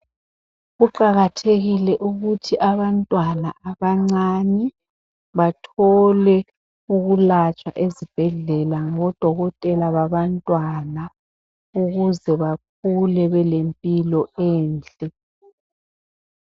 Kuqakathekile ukuthi abantwana abancane bathole ukulatshwa ezibhedlela ngodokotela babantwana ukuze bakhule belempilo enhle.